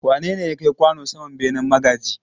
Wane ne ya kai kwano saman benen magaji?